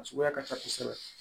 A suguya ka ca kosɛbɛ